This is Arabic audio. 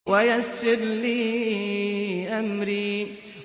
وَيَسِّرْ لِي أَمْرِي